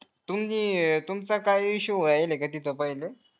तुम्ही तुमचा काय issue व्हायला काय तीथे